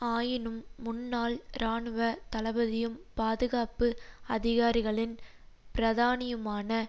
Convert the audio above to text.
ஆயினும் முன்னாள் இராணுவ தளபதியும் பாதுகாப்பு அதிகாரிகளின் பிரதானியுமான